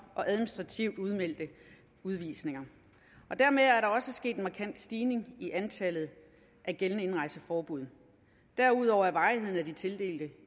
og administrative udvisninger dermed er der også sket en markant stigning i antallet af gældende indrejseforbud derudover er varigheden af de tildelte